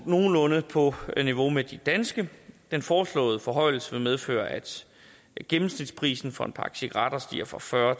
nogenlunde på niveau med de danske den foreslåede forhøjelse vil medføre at gennemsnitsprisen for en pakke cigaretter stiger fra fyrre